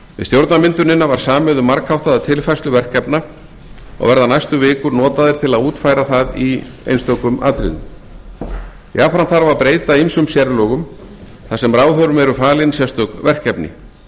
stjórnarmyndunina var samið um margháttaða tilfærslu verkefna og verða næstu vikur notaðar til að útfæra það í einstökum atriðum jafnframt þarf að breyta ýmsum sérlögum þar sem ráðherrum eru falin sérstök verkefni